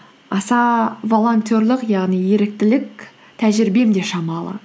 аса волонтерлік яғни еріктілік тәжірибем де шамалы